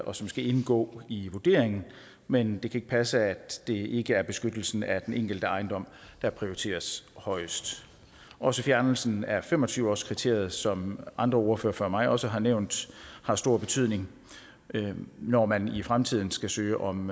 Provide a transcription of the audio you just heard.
og som skal indgå i vurderingen men det kan ikke passe at det ikke er beskyttelsen af den enkelte ejendom der prioriteres højst også fjernelsen af fem og tyve årskriteriet som andre ordførere før mig også har nævnt har stor betydning når man i fremtiden skal søge om